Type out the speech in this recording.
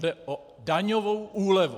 Jde o daňovou úlevu.